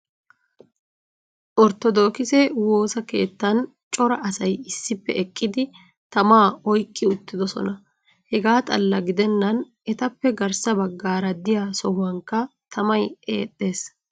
Orttodookkise woosa keettan cora asay issippe eqqidi tamaa oyqqi uttidosona. Hegaa xalla gidennan etappe garssa bagaara diya sohuwankka tamay eexxees.